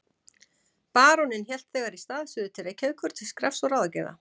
Baróninn hélt þegar í stað suður til Reykjavíkur til skrafs og ráðagerða.